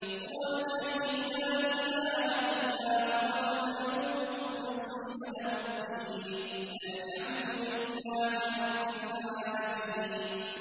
هُوَ الْحَيُّ لَا إِلَٰهَ إِلَّا هُوَ فَادْعُوهُ مُخْلِصِينَ لَهُ الدِّينَ ۗ الْحَمْدُ لِلَّهِ رَبِّ الْعَالَمِينَ